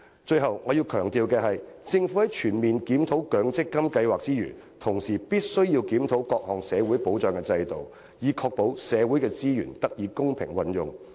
最後，我要強調的是，政府在全面檢討強積金計劃之餘，亦須檢討各項社會保障制度，以確保社會的資源得以公平運用。